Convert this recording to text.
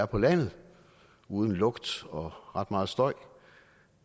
på landet uden lugt og ret meget støj